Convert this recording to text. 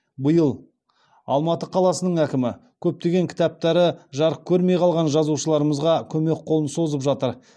биыл алматы қаласының әкімі көптеген кітаптары жарық көрмей қалған жазушылармызға көмек қолын созып жатыр